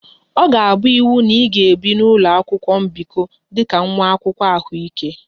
Ọ ga-abụ iwu na ị ga-ebi n'ụlọ mbikọ dị ka nwa akwụkwọ ahụike